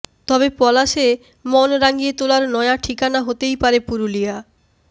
তবে পলাশে মন রাঙিয়ে তোলার নয়া ঠিকানা হতেই পারে পুরুলিয়া